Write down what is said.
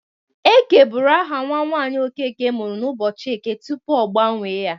Eke bụru aha nwa nwaanyị Okeke mụrụ n'ụbọchị eke tupu ọ gbanwe ya.